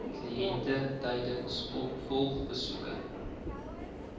kliënt tydens opvolgbesoeke